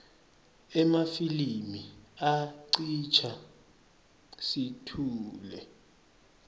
emafilimi acitsa situngle